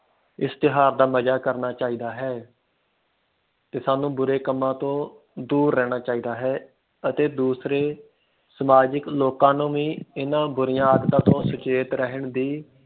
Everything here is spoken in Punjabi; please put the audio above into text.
ਇਸ ਤਿਓਹਾਰ ਦਾ ਮਜਾ ਕਰਨਾ ਚਾਹੀਦਾ ਹੈ ਤੇ ਸਾਨੂੰ ਬੁਰੇ ਕੰਮਾਂ ਤੋਂ ਦੂਰ ਰਹਿਣਾ ਚਾਹੀਦਾ ਹੈ ਅਤੇ ਦੂਸਰੀ ਸਮਾਜਿਕ ਲੋਕਾਂ ਨੂੰ ਇਨ੍ਹਾਂ ਬੁਰੀਆਂ ਆਦਤਾਂ ਤੋਂ ਸੁਚੇਤ ਰਹਿਣ ਦੀ